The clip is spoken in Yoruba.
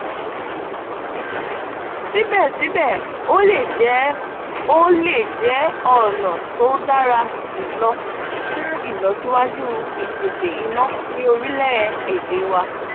ṣíbẹ̀ṣíbẹ̀ ó lè jẹ́ ó lè jẹ́ ọ̀nà tó dára jùlọ fun ílọsíwájú ìpèsè iná ní orílẹ̀-èdè wa.